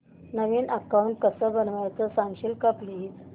नवीन account कसं बनवायचं सांगशील का प्लीज